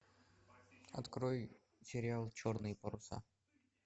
открой сериал черные паруса